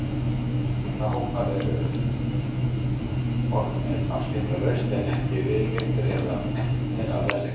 Minnihlutahópar eru umbornir afskiptalaust en ekki viðurkenndir eða metnir að verðleikum.